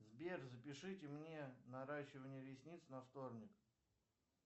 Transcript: сбер запишите мне наращивание ресниц на вторник